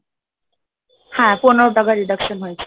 হ্যাঁ পনেরো টাকার deduction হয়েছিল,